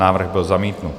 Návrh byl zamítnut.